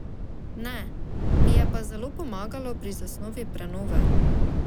Ne, mi je pa zelo pomagalo pri zasnovi prenove.